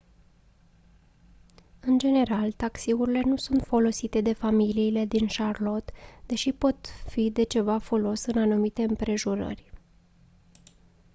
în general taxiurile nu sunt folosite de familiile din charlotte deși pot fi de ceva folos în anumite împrejurări